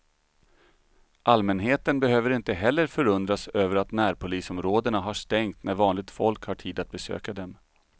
Allmänheten behöver inte heller förundras över att närpolisområdena har stängt när vanligt folk har tid att besöka dem.